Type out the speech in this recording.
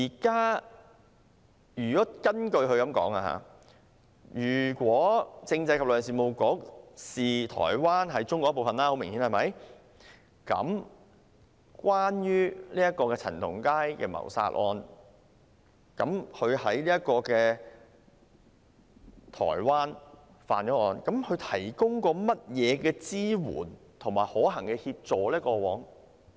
根據宗旨所述，當政制及內地事務局很明顯地視台灣為中國一部分時，那麼關於陳同佳在台灣干犯的謀殺案，局方過往曾提供甚麼支援和可行協助呢？